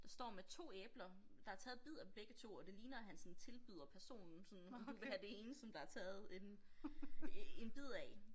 Der står med 2 æbler der er taget bid af begge 2 og det ligner at han sådan tilbyder personen sådan om du vil have det ene som der er taget en en bid af